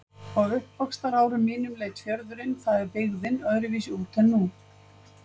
Á uppvaxtarárum mínum leit fjörðurinn- það er byggðin- öðruvísi út en nú.